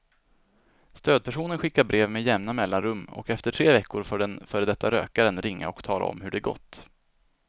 Stödpersonen skickar brev med jämna mellanrum och efter tre veckor får den före detta rökaren ringa och tala om hur det gått.